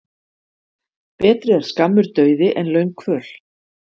Betri er skammur dauði en löng kvöl.